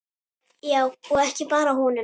Já, og ekki bara honum.